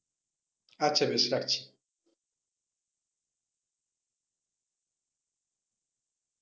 আচ্ছা বেশ রাখছি।